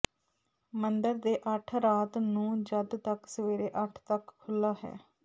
ਮੰਦਰ ਦੇ ਅੱਠ ਰਾਤ ਨੂੰ ਜਦ ਤੱਕ ਸਵੇਰੇ ਅੱਠ ਤੱਕ ਖੁੱਲ੍ਹਾ ਹੈ